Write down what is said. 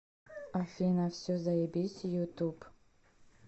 афина все заебись ютуб